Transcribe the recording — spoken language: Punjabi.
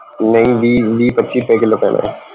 ਨਹੀਂ ਵੀਹ ਵੀਹ ਪੱਚੀ ਰੁਪਏ ਕਿੱਲੋ ਪੈਣਾ ਸੀ